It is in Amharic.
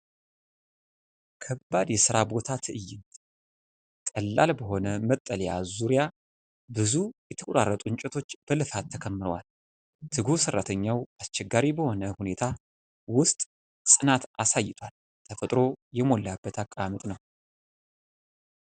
ከባድ የሥራ ቦታ ትዕይንት! ቀላል በሆነ መጠለያ ዙሪያ ብዙ የተቆራረጡ እንጨቶች በልፋት ተከምረዋል። ትጉህ ሰራተኛው አስቸጋሪ በሆነ ሁኔታ ውስጥ ጽናት አሳይቷል። ተፈጥሮ የሞላበት አቀማመጥ ነው።